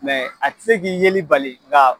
Mɛ a tɛ se k'i yeli bali nka